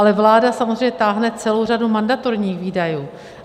Ale vláda samozřejmě táhne celou řadu mandatorních výdajů.